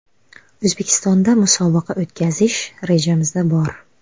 O‘zbekistonda musobaqa o‘tkazish rejamizda bor.